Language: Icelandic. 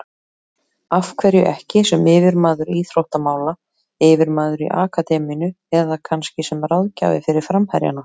Af hverju ekki sem yfirmaður íþróttamála, yfirmaður í akademíunni eða kannski sem ráðgjafi fyrir framherjana?